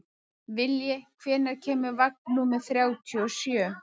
Vilji, hvenær kemur vagn númer þrjátíu og sjö?